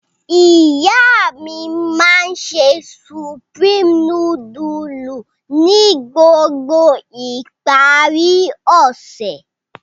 Iya mi ma n se Supreme nudulu ni gbogbo ipari ose.